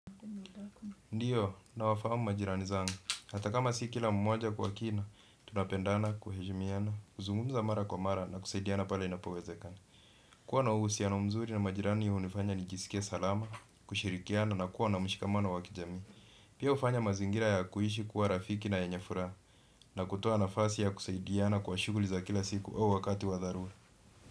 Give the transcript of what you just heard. Ndiyo, nina wa fahamu majirani zangu. Hata kama si kila mmoja kwa kina, tunapendana, kuheshimiana, kuzungumza mara kwa mara na kusaidiana pale inapowezekana. Kuwa na uhusiano mzuri na majirani hunifanya nijisike salama, kushirikiana na kuwa na mshikamano wa kijamii. Pia hufanya mazingira ya kuishi kuwa rafiki na yenye furaha na kutoa nafasi ya kusaidiana kwa shughuli za kila siku au wakati wa dharura.